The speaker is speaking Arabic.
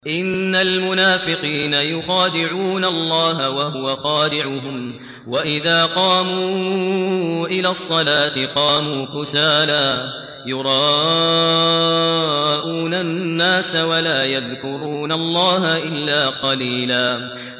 إِنَّ الْمُنَافِقِينَ يُخَادِعُونَ اللَّهَ وَهُوَ خَادِعُهُمْ وَإِذَا قَامُوا إِلَى الصَّلَاةِ قَامُوا كُسَالَىٰ يُرَاءُونَ النَّاسَ وَلَا يَذْكُرُونَ اللَّهَ إِلَّا قَلِيلًا